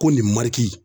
Ko nin mariki